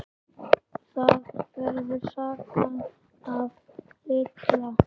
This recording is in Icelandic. Það var sagan af Litla